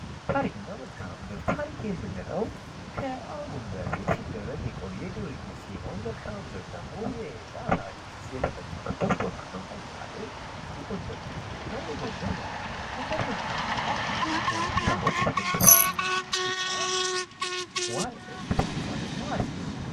ታሪክና መልካም ምእደር ታሪክ የምንለው ከአሁን በፊት ሲደረግ የቆየ ድርጊት ሲሆን መልከ አምድር ደግሞ የዚያ ታሪክ የተፈጸመበት ቦታ ነው ለምሳሌ የጎንደር ታሪክና የጎንደር መልካምድር ጎንደር መልካም ምድሩዋ በተራሮች የተከበበች ናት ታሪኳ ደግሞ አሪፍ ነው ::